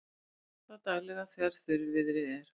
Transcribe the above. Vökvað daglega þegar þurrviðri er.